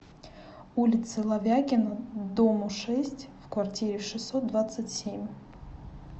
улице ловягина дому шесть в квартире шестьсот двадцать семь